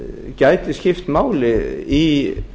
gæti skipt máli í